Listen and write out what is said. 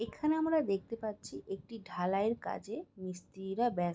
এখানে আমরা দেখতে পাচ্ছি একটি ঢালাই এর কাজে মিস্তিরিরা ব্যা--